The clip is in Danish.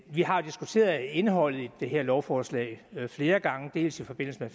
har diskuteret indholdet af det her lovforslag flere gange dels i forbindelse med